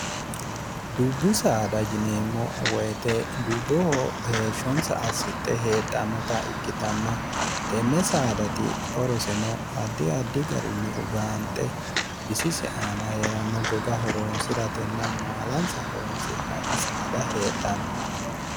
dubbu saada jineemmo woyite dubboho heeshshonsa assixhe heedhannota ikkitanna tenne saadati oroseno addi addi garinni ugaanxe bisise aana hee'ranno goga horoonsi'ratenna maalansa horoonsi'nanni saada heedhanno